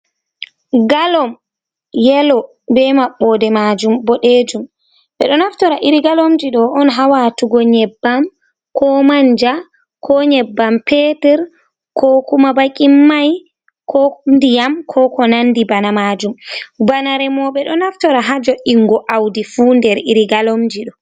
Galom yelo be maɓɓode majum boɗejum ɓe ɗo naftira irin galomji ɗo on ha watugo nyebbam ko manja ko nyebbam petur ko kuma baki mai ko ndiyam ko ko nandi bana majum bana remoɓe ɗo naftira ha jo’ingo audi fu nder irin galomji ɗo.